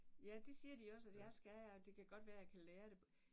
Ja det siger de også at jeg skal og det kan godt være at jeg kan lære det